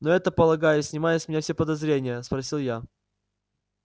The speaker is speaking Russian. но это полагаю снимает с меня все подозрения спросил я